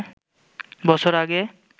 বছর আগে